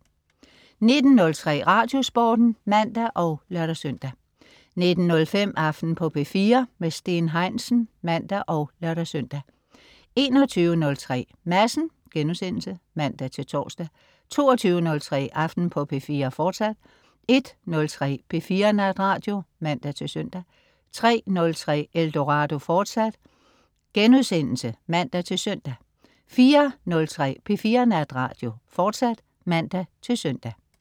19.03 Radiosporten (man og lør-søn) 19.05 Aften på P4. Steen Heinsen (man og lør-søn) 21.03 Madsen* (man-tors) 22.03 Aften på P4, fortsat 01.03 P4 Natradio (man-søn) 03.03 Eldorado* (man-søn) 04.03 P4 Natradio, fortsat (man-søn)